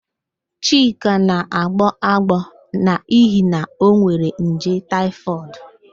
Chika na-agbọ agbọọ n'ihi na onwere nje taịfọdụ